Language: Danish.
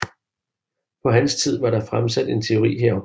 På hans tid var der fremsat en teori herom